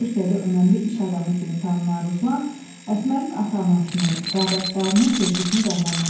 Türkiyədə önəmli iş adamı kimi tanınan Ruslan Əsmərin ata-anasının, qardaşlarının sevgisini qazanmışdı.